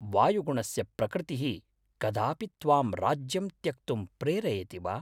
वायुगुणस्य प्रकृतिः कदापि त्वां राज्यं त्यक्तुं प्रेरयति वा?